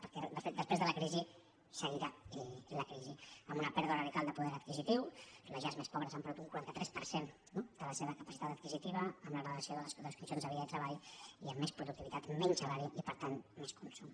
perquè de fet després de la crisi seguirà la crisi amb una pèrdua radical de poder adquisitiu les llars més pobres han perdut un quaranta tres per cent de la seva capacitat adquisitiva amb la degradació de les condicions de vida i de treball i amb més productivitat menys salari i per tant menys consum